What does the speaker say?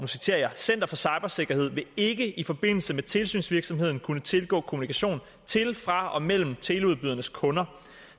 center for cybersikkerhed vil ikke i forbindelse med tilsynsvirksomheden kunne tilgå kommunikation til fra og mellem teleudbydernes kunder